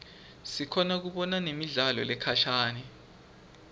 sikhona kubona nemidlalo lekhashane